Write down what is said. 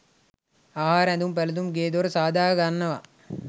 ආහාර, ඇඳුම් පැළැඳුම්, ගේ දොර සාදා ගන්නවා.